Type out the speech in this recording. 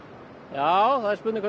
já það er spurning